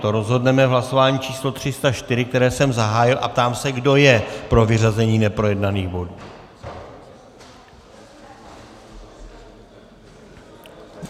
To rozhodneme v hlasování číslo304, které jsem zahájil, a ptám se, kdo je pro vyřazení neprojednaných bodů.